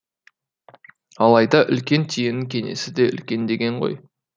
алайда үлкен түйенің кеңесі де үлкен деген ғой